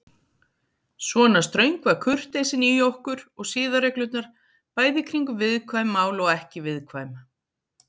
Svona ströng var kurteisin í okkur og siðareglurnar, bæði kringum viðkvæm mál og ekki viðkvæm.